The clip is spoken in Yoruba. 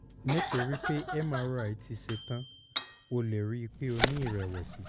nítorí pé mri ti ṣe tán o lè rí i pé o ní ìrẹ̀wẹ̀sì